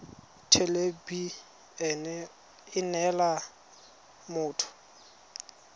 thelebi ene e neela motho